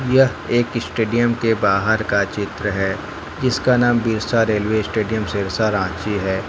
यह एक स्टेडियम के बाहर का चित्र है जिसका नाम बिरसा रेलवे स्टेडियम सिरसा रांची है।